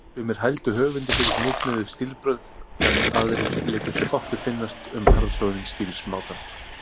Sumir hældu höfundi fyrir hnitmiðuð stílbrögð, en aðrir létu sér fátt finnast um harðsoðinn stílsmátann.